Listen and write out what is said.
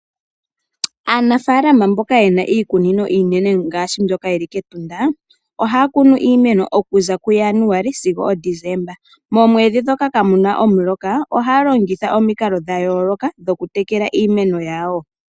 Aanafaala mboka yena iikunino iinene ngaashi mbyoka yili kEtunda ohaya kunu iimeno okuza kuJanuali sigo oDesemba. Moomwedhi dhoka kaamuna omuloka ohaya longitha omikalo dhayooloka mokutekela iimeno yawo.